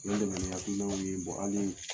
Nin de kun ye hakilinaw yee an ye